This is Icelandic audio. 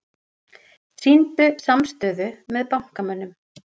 Sýndu samstöðu með bankamönnum